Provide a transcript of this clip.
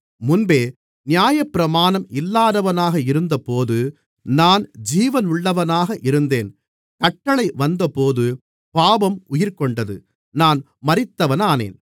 முன்பே நியாயப்பிரமாணம் இல்லாதவனாக இருந்தபோது நான் ஜீவனுள்ளவனாக இருந்தேன் கட்டளை வந்தபோது பாவம் உயிர்கொண்டது நான் மரித்தவனானேன்